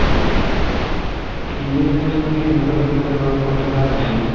new generation বুলি তেনেকুৱা এটা কিবা এটা কৰিব পাৰা হ'লে ভাল আছিলে